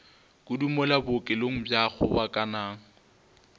kudu mola bookelong bja kgobokanang